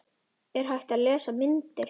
Er hægt að lesa myndir?